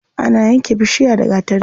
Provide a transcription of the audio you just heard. Ana yanke bishiya da gatari.